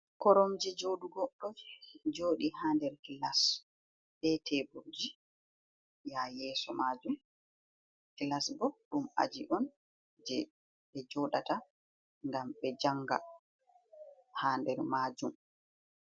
Koromje jooɗugo ɗo jooɗi haa nder kilas. Be teburji haa yeeso maajum. Kilas bo ɗum aji on je ɓe joɗata ngam ɓe janga haa nder maajum.